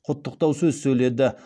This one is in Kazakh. құттықтау сөз сөйледі